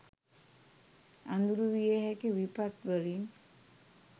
අඳුරු විය හැකි විපත් වලින්